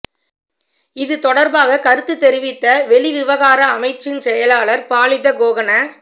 இது தொடர்பாக கருத்து தெரிவித்த வெளிவிவகார அமைச்சின் செயலாளர் பாலித கோகன